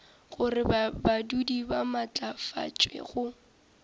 gore badudi ba maatlafatšwe go